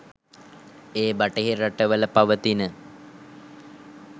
ඒ බටහිර රටවල පවතින